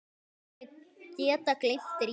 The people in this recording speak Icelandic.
Hann hefði getað gleymt Drífu.